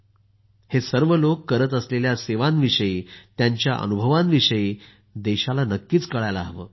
हे सर्व लोक करत असलेल्या सेवांविषयी त्यांच्या अनुभवांविषयी देशाला नक्कीच कळायला हवं